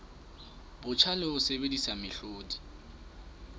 botjha le ho sebedisa mehlodi